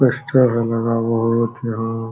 poster है लगा हुआ बोहोत यहाँ --